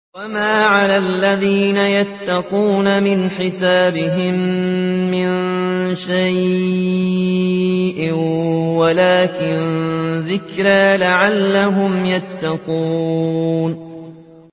وَمَا عَلَى الَّذِينَ يَتَّقُونَ مِنْ حِسَابِهِم مِّن شَيْءٍ وَلَٰكِن ذِكْرَىٰ لَعَلَّهُمْ يَتَّقُونَ